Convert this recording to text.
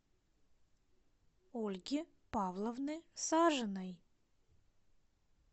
ольги павловны сажиной